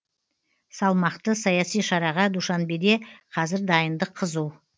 салмақты саяси шараға душанбеде қазір дайындық қызу